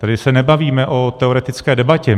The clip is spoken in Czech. Tady se nebavíme o teoretické debatě.